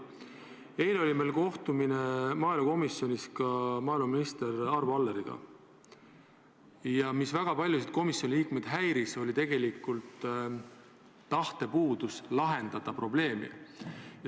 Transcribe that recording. Eile oli meil maaelukomisjonis kohtumine maaeluminister Arvo Alleriga ja põhiline, mis väga paljusid komisjoni liikmeid häiris, oli tegelikult see, et puudus tahe lahendada probleemi.